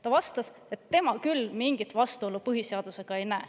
Ta vastas, et tema küll mingit vastuolu põhiseadusega ei näe.